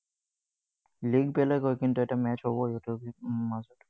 League বেলেগ হয়, কিন্তু এটা match হব সিহঁতৰ মাজত।